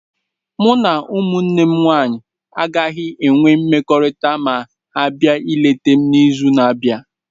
Mụ na ụmụ nwanne m nwanyị agaghị enwe mmekọrịta ma ha bia ịleta m n'izu na-abịa.